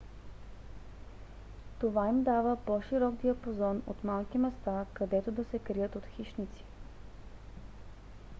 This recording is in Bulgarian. това им дава по-широк диапазон от малки места където да се крият от хищници